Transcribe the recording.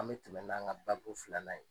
An bɛ tɛmɛ n'an ka bako filanan ye.